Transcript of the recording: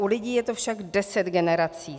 U lidí je to však deset generací.